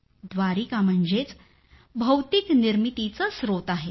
व्दारिका म्हणजेच भौतिक निर्मितीचं स्त्रोत आहे